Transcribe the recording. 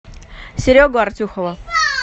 серегу артюхова